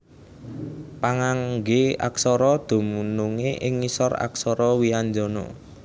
Pangangge aksara dunungé ing ngisor aksara wianjana